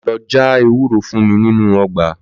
Lò jà èwúrò fún mi ninu ògbà